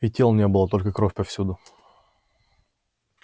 и тел не было только кровь повсюду